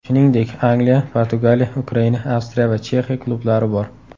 Shuningdek, Angliya, Portugaliya, Ukraina, Avstriya va Chexiya klublari bor.